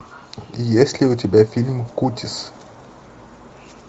есть ли у тебя фильм кутис